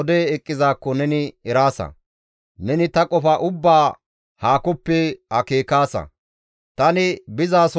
Tani bizaasonne shempizaso xomosaasa; ta ogeta ubbaa neni eraasa.